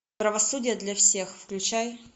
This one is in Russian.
правосудие для всех включай